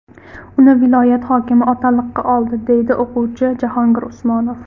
Uni viloyat hokimi otaliqqa oldi, deydi o‘quvchi Jahongir Usmonov .